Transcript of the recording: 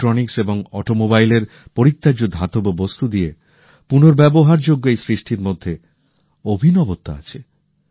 electronics এবং অটোমোবাইলের পরিত্যাজ্য ধাতব বস্তু দিয়ে পুনর্ব্যবহারযোগ্য এই সৃষ্টির মধ্যে অভিনবত্ব আছে